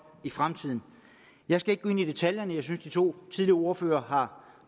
i fremtiden jeg skal ikke gå ind i detaljerne jeg synes de to tidligere ordførere har